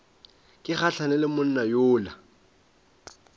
ke gahlane le monna yola